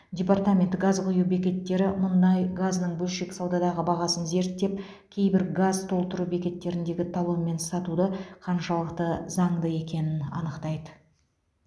департамент газ құю бекеттері мұнай газының бөлшек саудадағы бағасын зерттеп кейбір газ толтыру бекеттеріндегі талонмен сатуды қаншалықты заңды екенін анықтайды